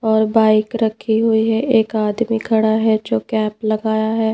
और बाइक रखी हुई है एक आदमी खड़ा है जो कैप लगाया है।